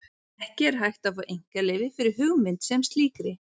Ekki er hægt að fá einkaleyfi fyrir hugmynd sem slíkri.